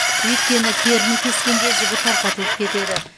өйткені теріні кескенде жібі тарқатылып кетеді